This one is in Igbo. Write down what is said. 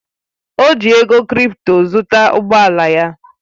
Ọ ji ego krịpto zụta ụgbọ ala ya